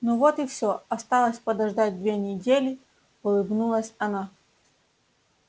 ну вот и всё осталось подождать две недели улыбнулась она